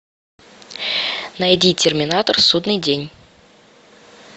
найди терминатор судный день